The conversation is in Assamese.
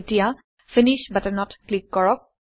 এতিয়া ফিনিশ্ব্ বাটনত ক্লিক কৰক